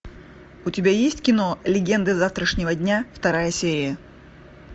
у тебя есть кино легенды завтрашнего дня вторая серия